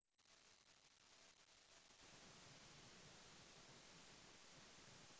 Kulawargane dheweke kagolong mlarat